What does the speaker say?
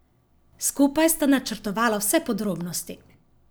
Skupaj sta načrtovala vse podrobnosti.